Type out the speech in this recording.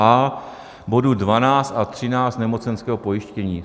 a) bodu 12 a 13 nemocenského pojištění.